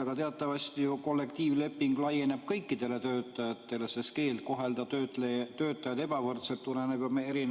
Aga teatavasti laieneb kollektiivleping kõikidele töötajatele, sest keeld kohelda töötajaid ebavõrdselt tuleneb meie